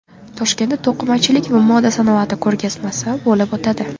Toshkentda to‘qimachilik va moda sanoati ko‘rgazmasi bo‘lib o‘tadi.